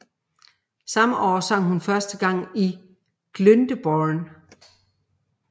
Samme år sang hun første gang i Glyndebourne